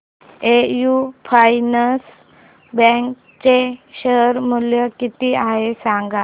AU finance bank चे share मूल्य किती आहे सांगा